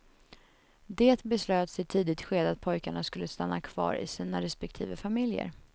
Det beslöts i ett tidigt skede att pojkarna skulle stanna kvar i sina respektive familjer.